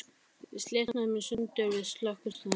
Við slitnuðum í sundur við Slökkvistöðina.